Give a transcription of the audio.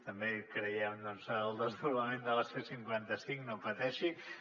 també creiem doncs en el desdoblament de la c cinquanta cinc no pateixi